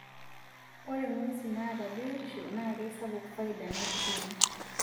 Ore ng'wesin naata biotisho naa keisapuk faida naitijing'u.